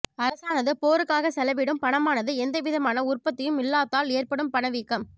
அரசானது போருக்காக செலவிடும் பணமானது எந்த விதமான உற்பத்தியும் இல்லாத்தால் ஏற்படும் பணவீக்கம்